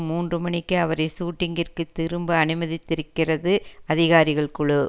மூன்று மணிக்கே அவரை ஷூட்டிங்கிற்கு திரும்ப அனுமதித்திருக்கிறது அதிகாரிகள் குழு